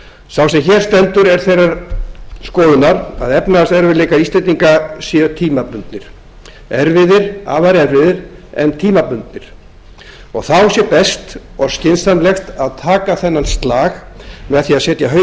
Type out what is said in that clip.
sá sem hér stendur er þeirrar skoðunar að efnahagserfiðleikar íslendinga séu tímabundnir erfiðir afar erfiðir en tímabundnir þá sé best og skynsamlegt að taka þennan slag með því að setja